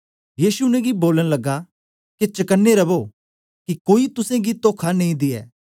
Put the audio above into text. यीशु उनेंगी बोलन लगा के चकने रवो कि कोई तुसेंगी तोखा नेई दे